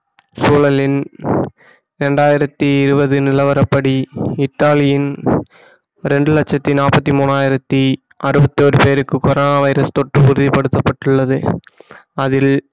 சூழலின் இரண்டாயிரத்தி இருபது நிலவரப்படி இத்தாலியின் ரெண்டு லட்சத்தி நாற்பத்தி மூனாயிரத்தி அறுபத்தி ஒரு பேருக்கு கொரோனா வைரஸ் தொற்று உறுதிப்படுத்தப்பட்டுள்ளது அதில்